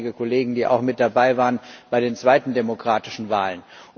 Ich sehe einige Kollegen, die auch mit dabei waren bei den zweiten demokratischen Wahlen.